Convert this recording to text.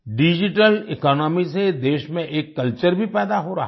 digital economy से देश में एक कल्चर भी पैदा हो रहा है